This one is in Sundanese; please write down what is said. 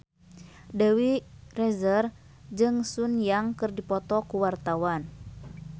Dewi Rezer jeung Sun Yang keur dipoto ku wartawan